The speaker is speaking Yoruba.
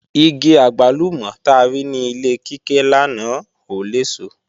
Igi àgbálùmọ̀ ta rí ní ilé Kíkẹ́ lánàá ò léso